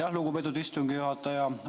Aitäh, lugupeetud istungi juhataja!